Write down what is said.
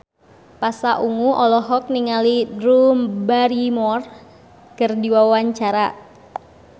Pasha Ungu olohok ningali Drew Barrymore keur diwawancara